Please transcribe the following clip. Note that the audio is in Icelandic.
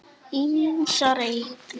Ýmsar eignir.